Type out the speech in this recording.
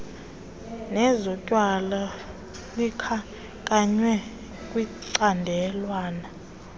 nezotywala likhankanywe kwicandelwana